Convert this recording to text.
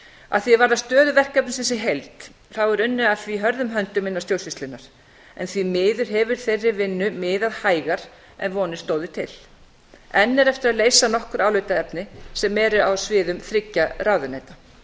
að því er varðar stöðu verkefnisins í heild þá er unnið að því hörðum höndum innan stjórnsýslunnar en því miður hefur þeirri vinnu miðað hægar en vonir stóðu til enn er eftir að leysa nokkur álitaefni sem eru á sviðum þriggja ráðuneyta